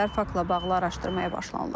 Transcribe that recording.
Faktla bağlı araşdırmaya başlanılıb.